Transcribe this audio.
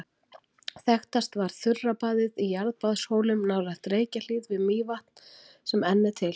Þekktast var þurrabaðið í Jarðbaðshólum nálægt Reykjahlíð við Mývatn sem enn er til.